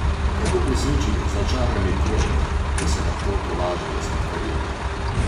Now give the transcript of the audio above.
Kako preseči začarani krog, ko se lahko tolažijo s sladkarijami?